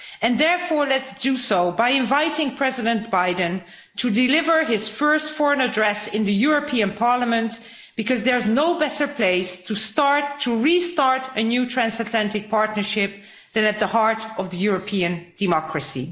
And therefore let's do so by inviting President Biden to deliver his first foreign address in the European Parliament, because there's no better place to start to restart a new transatlantic partnership than at the heart of European democracy.